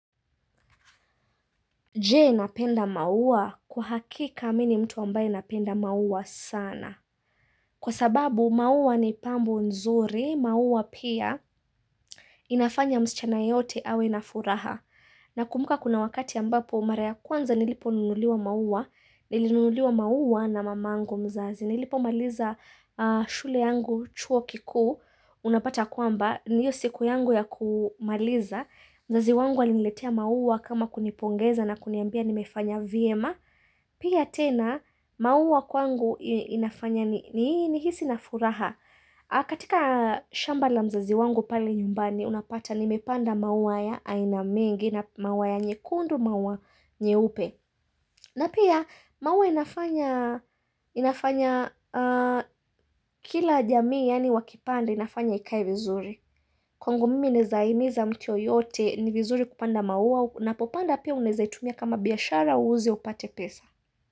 Je napenda maua? Kwa hakika mi ni mtu ambaye napenda maua sana. Kwa sababu maua ni pambo nzuri, maua pia inafanya msichana yeyote awe na furaha. Na kumbuka kuna wakati ambapo mara ya kwanza nilipo nunuliwa maua, nilinululiwa maua na mamangu mzazi. Nilipo maliza shule yangu chuo kikuu, unapata kwamba, ni hiyo siku yangu ya kumaliza. Mzazi wangu aliniletea maua kama kunipongeza na kuniambia nimefanya vyema. Pia tena, maua kwangu inafanya nihisi na furaha. Katika shamba la mzazi wangu pale nyumbani, unapata nimepanda maua ya aina mengi na maua ya nyekundu maua nyeupe. Na pia, maua inafanya inafanya kila jamii yani wakipanda inafanya ikae vizuri. Kwangu mimi naeza himiza mtu yoyote ni vizuri kupanda maua unapopanda pia uneza itumia kama biashara uuze upate pesa.